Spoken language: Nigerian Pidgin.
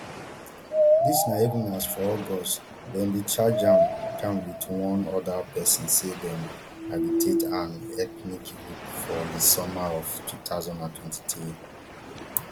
dis na even as for august dem bin charge am am wit one oda pesin say dem agitate an ethnic group for di summer of two thousand and twenty-three